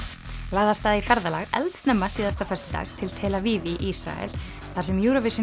lagði af stað í ferðalag eldsnemma síðasta föstudag til tel Aviv í Ísrael þar sem Eurovision